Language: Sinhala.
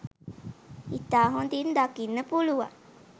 ඉතා හොඳින් දකින්න පුළුවන්